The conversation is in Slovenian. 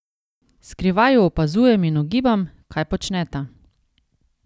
Skrivaj ju opazujem in ugibam, kaj počneta.